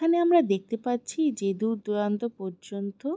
এই খানে আমরা দেখতে পাচ্ছি যে দূরদূরান্ত পর্যন্ত--